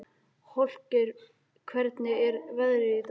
Holgeir, hvernig er veðrið í dag?